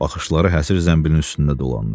Baxışları həsir zəmbilin üstündə dolandı.